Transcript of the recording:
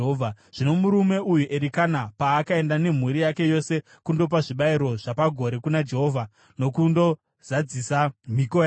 Zvino murume uyu Erikana paakaenda nemhuri yake yose kundopa zvibayiro zvapagore kuna Jehovha nokundozadzisa mhiko yake,